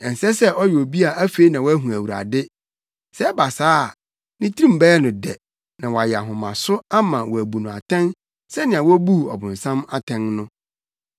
Ɛnsɛ sɛ ɔyɛ obi a afei na wahu Awurade; sɛ ɛba saa a, ne tirim bɛyɛ no dɛ na wayɛ ahomaso ama wɔabu no atɛn sɛnea wobuu ɔbonsam atɛn no.